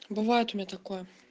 бывает у меня такое